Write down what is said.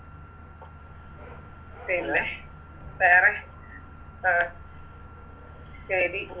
പിന്നെ വേറെ ആ ശരി